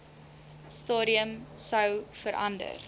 stadium sou verander